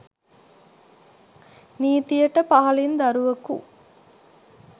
නීතියට පහළින් දරුවකු